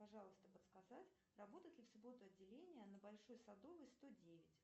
пожалуйста подсказать работает ли в субботу отделение на большой садовой сто девять